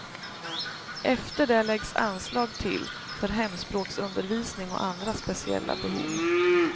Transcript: Efter det läggs anslag till för hemspråksundervisning och andra speciella behov.